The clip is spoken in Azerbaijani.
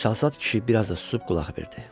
Çalsad kişi biraz da susub qulaq verdi.